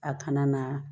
A kana na